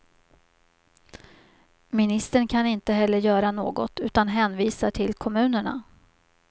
Ministern kan inte heller göra något, utan hänvisar till kommunerna.